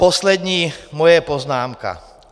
Poslední moje poznámka.